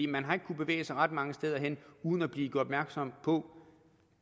man har ikke kunnet bevæge sig ret mange steder hen uden at blive gjort opmærksom på